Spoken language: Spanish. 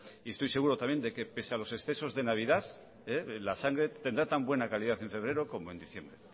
y estoy seguro también de que pese a los excesos de navidad la sangre tendrá tan buena calidad en febrero como en diciembre